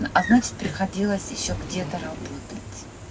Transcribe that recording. а значит приходилось ещё где-то работать